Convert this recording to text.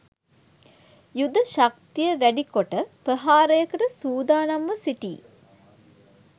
යුද ශක්තියවැඩි කොට ප්‍රහාරයකට සූදානම්ව සිටී